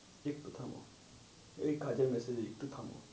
একটু থামো এই কাজের massage একটু থামো।